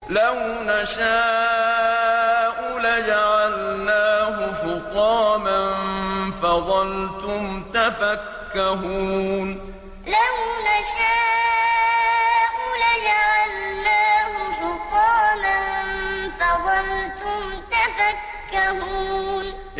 لَوْ نَشَاءُ لَجَعَلْنَاهُ حُطَامًا فَظَلْتُمْ تَفَكَّهُونَ لَوْ نَشَاءُ لَجَعَلْنَاهُ حُطَامًا فَظَلْتُمْ تَفَكَّهُونَ